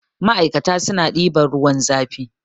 ma'aikata suna ɗiban ruwan zafi